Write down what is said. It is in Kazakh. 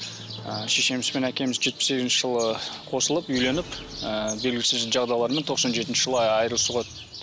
ы шешеміз бен әкеміз жетпіс сегізінші жылы қосылып үйленіп ыыы белгісіз жағдайлармен тоқсан жетінші айырылысуға